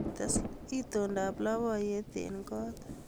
Tes itondoab labkayte kot